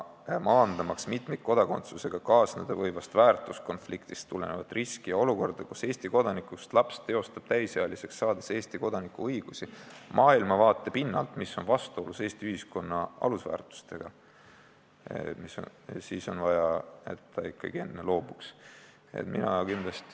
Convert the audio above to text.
Maandamaks mitmikkodakondsusega kaasneda võivast väärtuskonfliktist tulenevat riski ja olukorda, kus Eesti kodanikust laps teostab täisealiseks saades Eesti kodaniku õigusi maailmavaate pinnalt, mis on vastuolus Eesti ühiskonna alusväärtustega, on Siseministeeriumi sõnul vaja, et ta ikkagi enne loobuks teise riigi kodakondsusest.